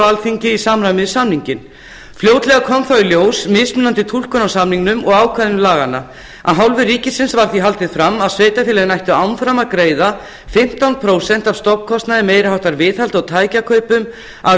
alþingi í samræmi við samninginn fljótlega kom þó í ljós mismunandi túlkun á samningnum og ákvæðum laganna af hálfu ríkisins var því haldið fram að sveitarfélögin ættu áfram að greiða fimmtán prósent af stofnkostnaði meiri háttar viðhaldi og tækjakaupum af